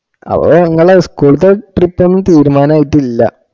അപ്പൊ ഇങ്ങളെ school ത്തെ trip ഒന്നും തീരുമാനായിട്ടില്ല